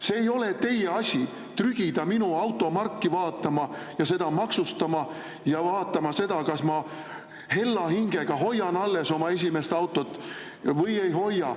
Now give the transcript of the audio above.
See ei ole teie asi trügida minu automarki vaatama ja seda maksustama ja vaatama seda, kas ma hella hingega hoian alles oma esimest autot või ei hoia.